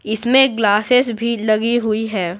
इसमें ग्लासेस भी लगी हुई है।